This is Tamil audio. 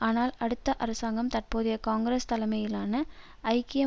ஆனால் அடுத்த அரசாங்கம் தற்போதைய காங்கிரஸ் தலைமையிலான ஐக்கிய